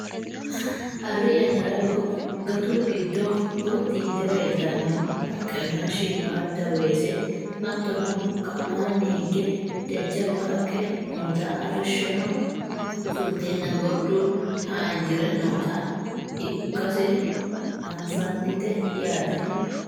arri yannara gatu giddo gotti yite leeltanno haqqenna shiimmaadda weese hattono ka'anni higge jajjabba haqqe noota arrishshono fulteenna gordu haanjire noota iokkase afannite yaate